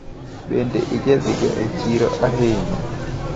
Bende ijadhiga e chiro ahinya?